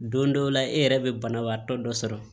Don dɔ la e yɛrɛ bɛ banabaatɔ dɔ sɔrɔ